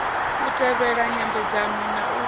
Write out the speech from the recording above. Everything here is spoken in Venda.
u tevhela nyambedzano na u